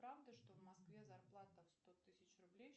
правда что в москве зарплата в сто тысяч рублей